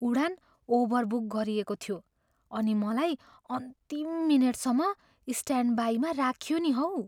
उडान overbook गरिएको थियो अनि मलाई अन्तिम मिनेटसम्म स्ट्यान्डबाईमा राखियो नि हौ।